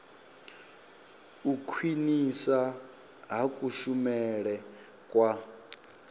u khwinisa ha kushumele kwa